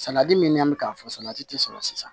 Salati min nan be k'a fɔ salati ti sɔrɔ sisan